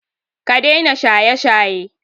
Ka daina shaye-shaye!